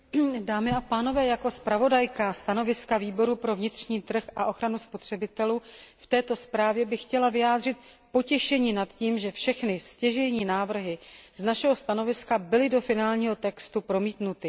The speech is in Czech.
Dámy a pánové, jako navrhovatelka stanoviska Výboru pro vnitřní trh a ochranu spotřebitelů k této zprávě bych chtěla vyjádřit potěšení nad tím, že všechny stěžejní návrhy z našeho stanoviska byly do finálního textu promítnuty.